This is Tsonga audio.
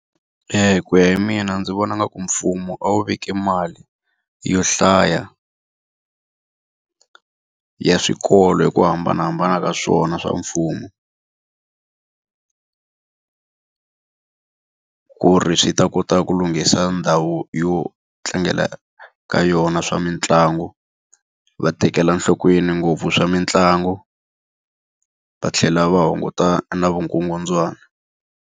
Ku ya hi mina ndzi vona ngaku mfumo a wu veki mali yo hlaya ya swikolo hi ku hambanahambana ka swona swa mfumo. Ku ri swi ta kota ku lunghisa ndhawu yo tlangela ka yona swa mitlangu, va tekela nhlokweni ngopfu swa mitlangu, va tlhela va hunguta na vukungundzwani.